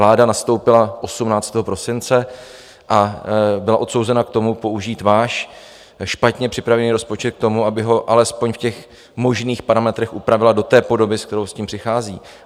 Vláda nastoupila 18. prosince a byla odsouzena k tomu použít váš špatně připravený rozpočet k tomu, aby ho alespoň v těch možných parametrech upravila do té podoby, se kterou s tím přichází.